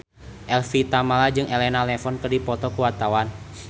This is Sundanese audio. Evie Tamala jeung Elena Levon keur dipoto ku wartawan